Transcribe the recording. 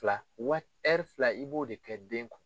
fila wa hɛri fila i b'o de kɛ den kun.